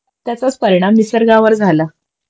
त्याचाच परिणाम निसर्गावर झाला